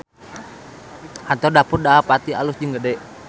Kantor Dapur Dahapati alus jeung gede